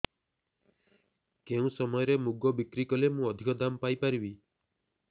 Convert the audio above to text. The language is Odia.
କେଉଁ ସମୟରେ ମୁଗ ବିକ୍ରି କଲେ ମୁଁ ଅଧିକ ଦାମ୍ ପାଇ ପାରିବି